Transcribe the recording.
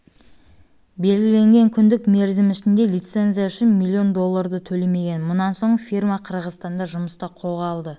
белгіленген күндік мерзім ішінде лицензия үшін миллион долларды төлемеген мұнан соң фирма қырғызстанда жұмысты қолға